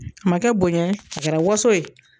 A ma kɛ bonya ye a kɛra waso ye.